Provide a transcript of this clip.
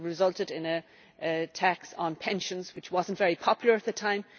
It resulted in a tax on pensions, which was not very popular at the time.